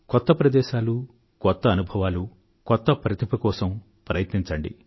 కొత్త ప్రదేశాలు కొత్త అనుభవాలు కొత్త ప్రతిభ కోసం ప్రయత్నించండి